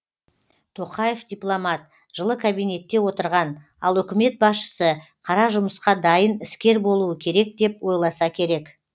тоқаев дипломат жылы кабинетте отырған ал үкімет басшысы қара жұмысқа дайын іскер болуы керек деп ойласа керек